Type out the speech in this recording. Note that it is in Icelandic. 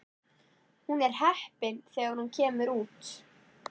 Hún er heppin þegar hún kemur út.